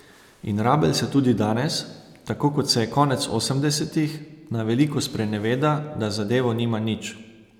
In rabelj se tudi danes, tako kot se je konec osemdesetih, na veliko spreneveda, da z zadevo nima nič.